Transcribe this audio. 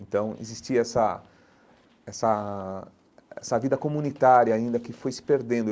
Então, existia essa essa essa vida comunitária ainda que foi se perdendo.